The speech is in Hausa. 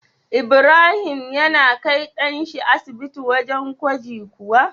Ibrahim yana kai dan shi asibiti wajan gwaji kuwa?